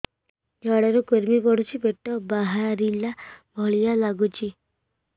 ଝାଡା ରେ କୁର୍ମି ପଡୁଛି ପେଟ ବାହାରିଲା ଭଳିଆ ଲାଗୁଚି